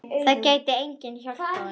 Það gæti enginn hjálpað honum.